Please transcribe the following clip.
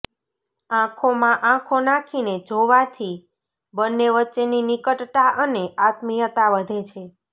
આંખોમાં આંખો નાંખીને જોવાથી બંને વચ્ચેની નિકટતા અને આત્મીયતા વધે છે